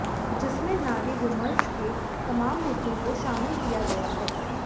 जिसमें नारी विमर्श के तमाम मुद्दों को शामिल किया गया है